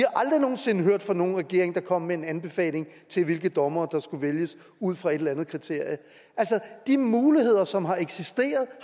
aldrig nogen sinde hørt fra nogen regering der kom med en anbefaling til hvilke dommere der skulle vælges ud fra et eller andet kriterie de muligheder som har eksisteret